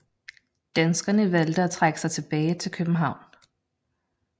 Danskerne valgte at trække sig tilbage til København